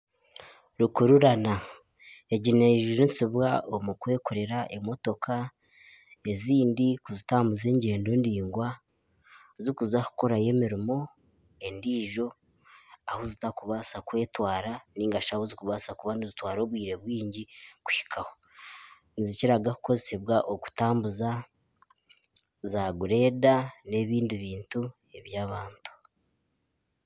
Rukurirana egi neyejunisibwa omu kwekorera emotoka ezindi kuzitambuza engyendo ndaigwa ziri kuza kukorayo emirimo endiijo ahu zitari kubaasa kwetwara nari ahu zirikubaasa kuba nizitwara obwire bwingi kuhikaho nizikira kukoresibwa za gureda n'ebindi bintu eby'abantu